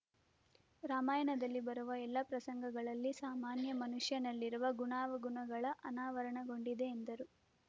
ರಾಮಾಯಣದಲ್ಲಿ ಬರುವ ಎಲ್ಲಾ ಪ್ರಸಂಗಗಳಲ್ಲಿ ಸಾಮಾನ್ಯ ಮನುಷ್ಯನಲ್ಲಿರುವ ಗುಣಾವಗುಣಗಳ ಅನಾವರಣಗೊಂಡಿದೆ ಎಂದರು